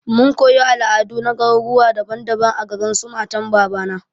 Mun koyi al'adu na garuruwa daban daban a garin su matan babana.